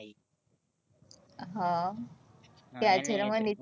હ